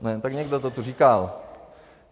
Tak někdo to tu říkal.